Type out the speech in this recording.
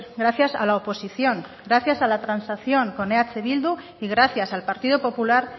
gracias a la oposición gracias a la transacción con eh bildu y gracias al partido popular